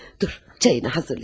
Dur, çayını hazırla.